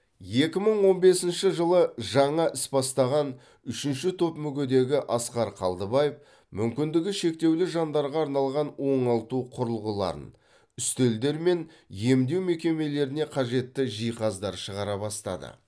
екі мың он бесінші жылы жаңа іс бастаған үшінші топ мүгедегі асқар қалдыбаев мүмкіндігі шектеулі жандарға арналған оңалту құрылғыларын үстелдер мен емдеу мекемелеріне қажетті жиһаздар шығара бастады